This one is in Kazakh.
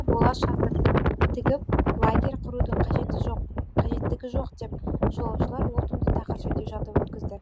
бола шатыр тігіп лагерь құрудың қажеттігі жоқ деп жолаушылар ол түнді тақыр жерде жатып өткізді